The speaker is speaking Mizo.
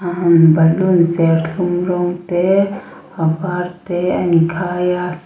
hmm balloon serthlum rawng te a var te a in khai a--